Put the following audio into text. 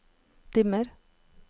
dimmer